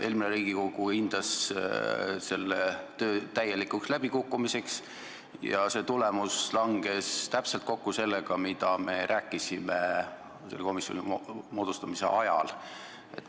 Eelmine Riigikogu hindas selle töö täielikuks läbikukkumiseks ja see tulemus langes täpselt kokku sellega, mida me rääkisime selle komisjoni moodustamise ajal.